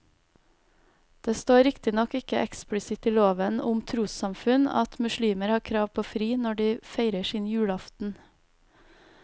Det står riktignok ikke eksplisitt i loven om trossamfunn at muslimer har krav på fri når de feirer sin julaften.